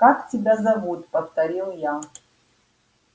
как тебя зовут повторил я